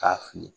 K'a fili